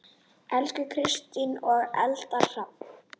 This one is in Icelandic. Elsku Kristín og Eldar Hrafn.